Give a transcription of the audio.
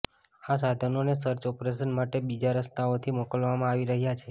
આ સાધનોને search operation માટે બીજા રસ્તાઓથી મોકલવામાં આવી રહ્યા છે